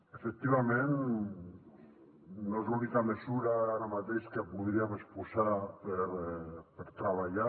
efectivament no és l’única mesura ara mateix que podríem exposar per treballar